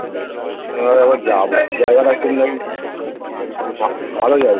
আমি ভাবলাম একবার যাবো . ভালো যাই